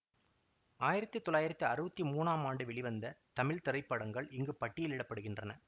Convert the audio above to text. ஆயிரத்தி தொள்ளாயிரத்தி அறுவத்தி மூனாம் ஆண்டு வெளிவந்த தமிழ் திரைப்படங்கள் இங்கு பட்டியலிட படுகின்றன